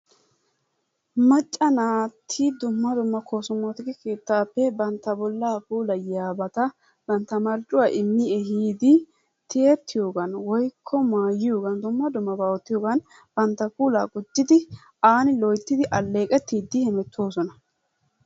Macca naati dumma dumma koosomootikisiya bi bantta bollaa puulayiyabata bantta marccuwa immi ehiidi tiyettiyohan woykko maayiyogan dumma dummabaa oottiyogan bantta puulaa gujjidi aani loyttidi alleeqettiiddi hemettoosona.